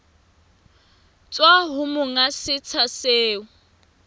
tswa ho monga setsha seo